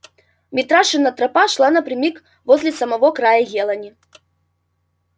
митрашина тропа шла напрямик возле самого края елани